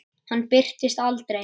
Hann birtist aldrei.